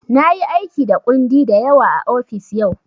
Na yi aiki da kundi da yawa a ofis yau.